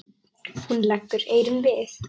Hún leggur eyrun við.